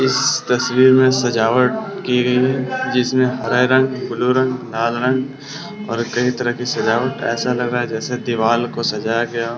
इस तस्वीर मे सजावट की गई है जिसमे हरे रंग ब्लू रंग लाल रंग और कई तरह की सजावट ऐसा लग रहा है जैसे दीवाल को सजाय गया हो।